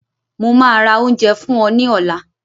Mo máa ra oúnjẹ fún ọ ní ọ̀la